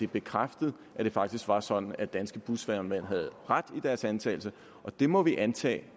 bekræftet at det faktisk var sådan at danske busvognmænd havde ret i deres antagelse og det må vi antage